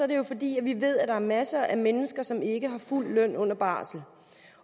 det jo fordi vi ved at der er masser af mennesker som ikke har fuld løn under barsel